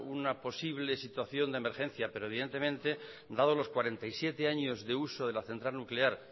una posible situación de emergencia pero evidentemente dado los cuarenta y siete años de uso de la central nuclear